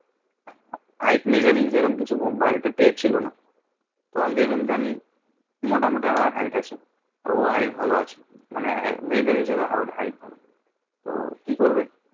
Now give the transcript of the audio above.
Hight measuring সে রকম কিছু বাড়িতে টের ছিল না মোটামুটি আমার hight আছে ওর ও hight ভালো আছে মানে মেয়ে দের হিসাবে hight ভালো তো কি করবে